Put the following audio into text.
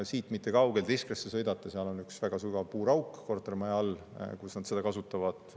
Siit mitte kaugel, Tiskresse tuleb sõita, on üks väga sügav puurauk kortermaja all, kus nad seda energiat kasutavad.